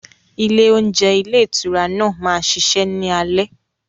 Ile ohúnjẹ ilé ìtura náà máa ń ṣiṣẹ́ ní alé.